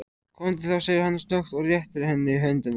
Komdu þá, segir hann snöggt og réttir henni höndina.